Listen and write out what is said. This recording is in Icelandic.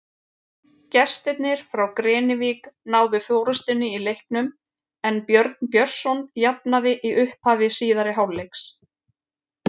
Gestirnir frá Grenivík náðu forystunni í leiknum en Björn Björnsson jafnaði í upphafi síðari hálfleiks.